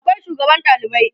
akwai sugaban ɗalibai